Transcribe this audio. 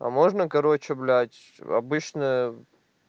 а можно короче блядь обычное